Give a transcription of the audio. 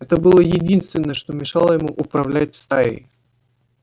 это было единственное что мешало ему управлять стаей